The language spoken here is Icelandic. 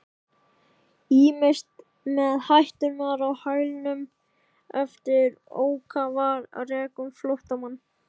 Ýmist með hætturnar á hælunum eða ákafir rekum flóttann.